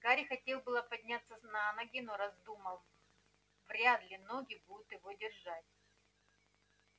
гарри хотел было подняться на ноги но раздумал вряд ли ноги будут его держать